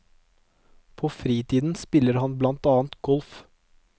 På fritiden spiller han blant annet golf.